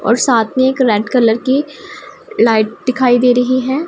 और साथ में एक रेड कलर की लाइट दिखाई दे रही है।